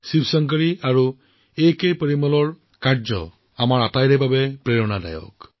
শিৱশংকৰী জী আৰু A K Perumal জীৰ এই প্ৰচেষ্টা সকলোৰে বাবে এক আদৰ্শ